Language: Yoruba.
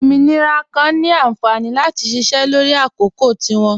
Ọmọnirà kan ni ànfání láti ṣíṣẹ́ lọrì àkọ̀kò tí wọn.